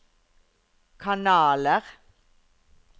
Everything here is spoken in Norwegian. kanaler